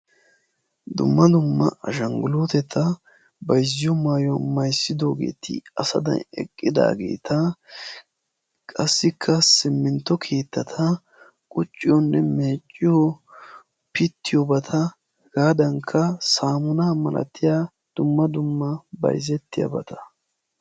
dumma dumma ashanguluuteta bayizziyo maayuwa mayizzidoogeti asadan eqqidaageeta qassikka simmintto keettata qucciyoonne meecciyo pittiyoobata hegaadankka saamunaa malatiya dumma dumma bayizettiyabata.